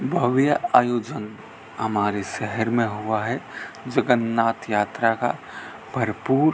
भव्य आयोजन हमारे शहर में हुआ है जगन्नाथ यात्रा का भरपूर --